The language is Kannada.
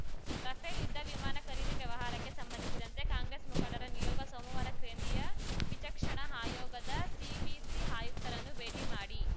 ರಫೇಲ್‌ ಯುದ್ಧವಿಮಾನ ಖರೀದಿ ವ್ಯವಹಾರಕ್ಕೆ ಸಂಬಂಧಿಸಿದಂತೆ ಕಾಂಗ್ರೆಸ್‌ ಮುಖಂಡರ ನಿಯೋಗ ಸೋಮವಾರ ಕೇಂದ್ರೀಯ ವಿಚಕ್ಷಣ ಆಯೋಗದ ಸಿವಿಸಿ ಆಯುಕ್ತರನ್ನು ಭೇಟಿ ಮಾಡಿ